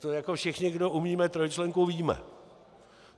To jako všichni, kdo umíme trojčlenku, víme.